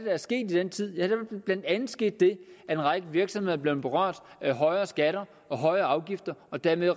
er sket i den tid ja der er blandt andet sket det at en række virksomheder er blevet berørt af højere skatter og højere afgifter og dermed